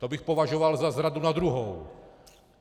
To bych považoval za zradu na druhou.